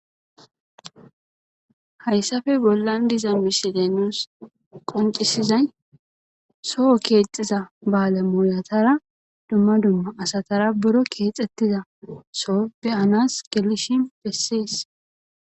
Hayssappe bollan diza misile qonccisizay soo keexxiza baale moyatara dumma dumma asatara buro keexettiza soo beyanas gelishin bessees.